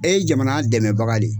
E ye jamana dɛmɛbaga de ye.